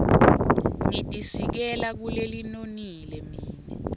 nitisikela kulelinonile mine